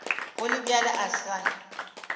go le bjalo a se